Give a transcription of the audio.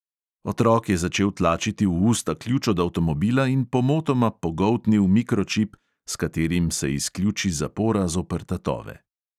Otrok je začel tlačiti v usta ključ od avtomobila in pomotoma pogoltnil mikročip, s katerim se izključi zapora zoper tatove.